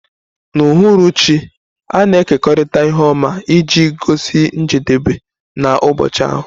N'uhuruchi, a na-ekekọrịta ihe ọma iji gosi njedebe nke ụbọchị ahụ.